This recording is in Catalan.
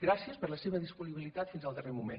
gràcies per la seva disponibilitat fins al darrer moment